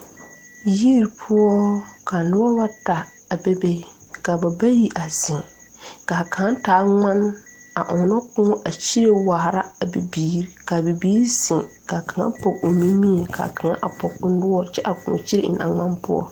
Yiri poɔ ka nobɔ bata a bebe kaa ba bayi a zeŋ kaa kaŋ taa ngmane a ɔŋnɔ kõɔ a kyire waara a bibiire kaa bibiire zeŋ kaa kaŋa pɔg o nimie kaa kaŋa a pɔg o noɔre kyɛ kaa kõɔ kyire eŋ a ngmane poɔ.